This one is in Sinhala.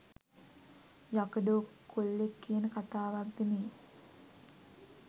යකඩෝ කොල්ලෙක් කියන කතාවක්ද මේ?